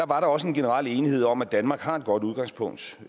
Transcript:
var der også en generel enighed om at danmark har et godt udgangspunkt